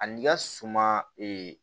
Ani i ka suma